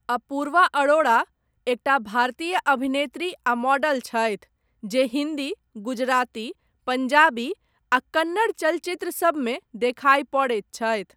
अपूर्वा अरोड़ा, एकटा भारतीय अभिनेत्री आ मॉडल छथि, जे हिन्दी, गुजराती, पञ्जाबी आ कन्नड़, चलचित्र सबमे देखाइ पड़ैत छथि।